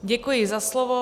Děkuji za slovo.